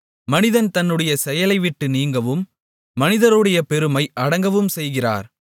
மனிதன் தன்னுடைய செயலைவிட்டு நீங்கவும் மனிதருடைய பெருமை அடங்கவும் செய்கிறார்